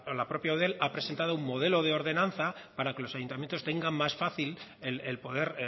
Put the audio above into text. la propia eudel ha presentado un modelo de ordenanza para que los ayuntamientos tengan más fácil el poder